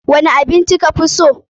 Wani abin ci ka fi so?